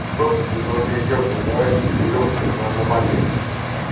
кто тут из ново-переделкино давайте соберёмся на аномалии